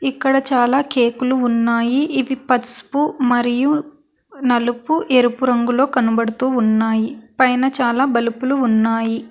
ఇక్కడ చాలా కేకులు ఉన్నాయి ఇవి పసుపు మరియు నలుపు ఎరుపు రంగులో కనబడుతూ ఉన్నాయి పైన చాలా బలుపులు ఉన్నాయి.